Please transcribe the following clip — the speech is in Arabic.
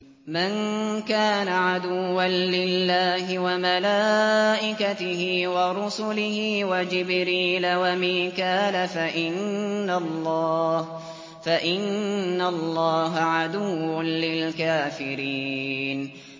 مَن كَانَ عَدُوًّا لِّلَّهِ وَمَلَائِكَتِهِ وَرُسُلِهِ وَجِبْرِيلَ وَمِيكَالَ فَإِنَّ اللَّهَ عَدُوٌّ لِّلْكَافِرِينَ